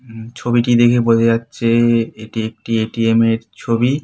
হু ছবিটি দেখে বোঝা যাচ্ছে এটি একটি এ.টি.এম. এর ছবি।